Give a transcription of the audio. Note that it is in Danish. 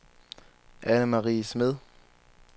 Annemarie Smed